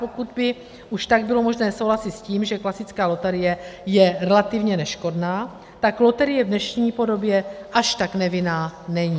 Pokud by už tak bylo možné souhlasit s tím, že klasická loterie je relativně neškodná, tak loterie v dnešní podobě až tak nevinná není.